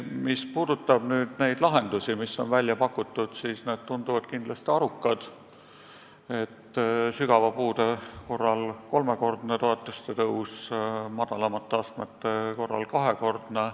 Mis puudutab välja pakutud lahendusi, siis need tunduvad kindlasti arukad – sügava puude astme korral kolmekordne toetuste tõus, madalamate astmete korral kahekordne.